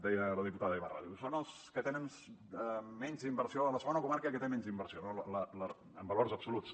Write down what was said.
deia la diputada ibarra són els que tenen menys inversió la segona comarca que té menys inversió en valors absoluts